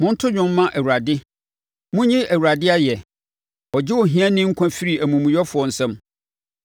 Monto dwom mma Awurade! Monyi Awurade ayɛ! Ɔgye ohiani nkwa firi amumuyɛfoɔ nsam.